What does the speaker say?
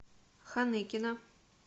ханыкина